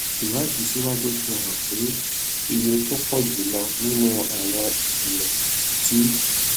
ìwádìí síwájú sí i fi hàn pé iye tó pò jù lọ nínú àwọn ìṣẹlẹ tí